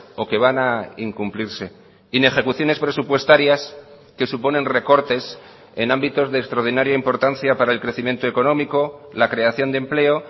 o que van a incumplirse inejecuciones presupuestarias que suponen recortes en ámbitos de extraordinaria importancia para el crecimiento económico la creación de empleo